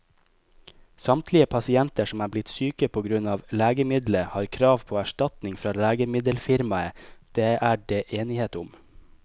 Samtlige pasienter som er blitt syke på grunn av legemiddelet, har krav på erstatning fra legemiddelfirmaet, det er det enighet om.